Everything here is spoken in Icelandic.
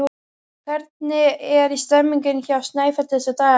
Hvernig er stemmningin hjá Snæfelli þessa dagana?